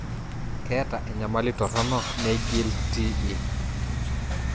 keeta enyamali toronok neing'ial TE